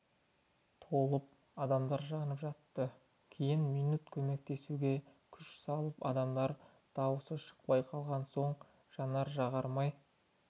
толып адамдар жанып жатты кейін минут көмектесуге күш салып адамдардың дауысы шықпай қалған соң жанар-жағармай